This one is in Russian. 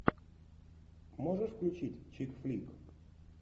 можешь включить чик флик